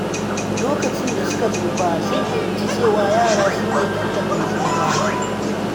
Lokacin da suka tsufa, sun fahimci cewa yara sune tallafin tsufa.